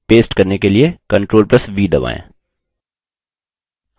paste करने के लिए ctrl + v दबाएँ